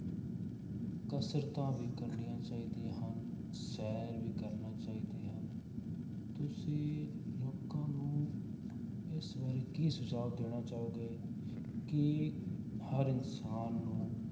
ਕਸ਼ਰਤਾਂ ਵੀ ਕਰਨੀਆਂ ਚਾਹੀਦੀਆਂ ਹਨ, ਸ਼ੈਰ ਵੀ ਕਰਨਾ ਚਾਹੀਦੀ ਹਨ, ਤੁਸੀਂ ਲੋਕਾਂ ਨੂੰ ਇਸ ਬਾਰੇ ਕੀ ਸੁਝਾਵ ਦੇਣਾ ਚਾਹੋਗੇ ਕਿ ਹਰ ਇਨਸਾਨ ਨੂੰ,